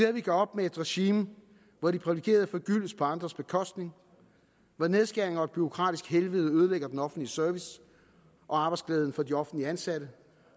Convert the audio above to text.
at vi gør op med et regime hvor de privilegerede forgyldes på andres bekostning hvor nedskæringer og et bureaukratisk helvede ødelægger den offentlige service og arbejdsglæden for de offentligt ansatte